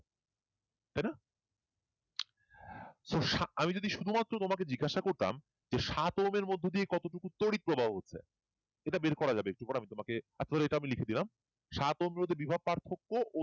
so আমি শুধু মাত্র তোমাকে জিজ্ঞেসা করতাম সাত ওহমের মধ্য দিয়ে কতটুকু তড়িৎ প্রবাহ হচ্ছে এটা বের করা যাবে তোমাকে এখন এটা লিখে দিলাম সাত ওহমের মধ্যে বিভব পার্থক্য ও